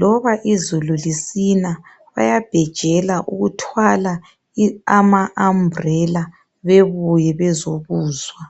Loba izulu lisina bayabhejela ukuthwala amasambulena bebuye ukuzokuzwa.